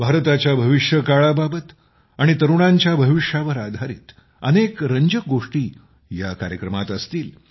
भारताच्या भविष्य काळाबाबत आणि तरुणांच्या भविष्यावर आधारीत अनेक रंजक गोष्टी या कार्यक्रमात असणार आहेत